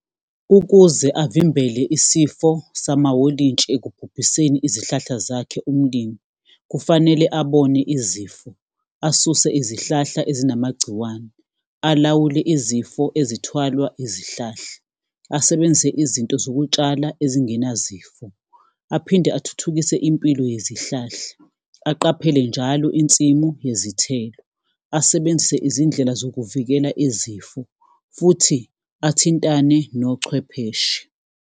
Ukuze avimbele isifo samawolintshi ekubhubhiseni izihlahla zakhe umlimi, kufanele abone izifo. Asuse izihlahla ezinamagciwane, alawule izifo ezithwalwa izihlahla, asebenzise izinto zokutshala ezingenazifo. Aphinde athuthukise impilo yezihlahla, aqaphele njalo insimu yezithelo. Asebenzise izindlela zokuvikela izifo, futhi athintane nochwepheshe.